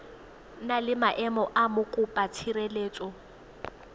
na le maemo a mokopatshireletso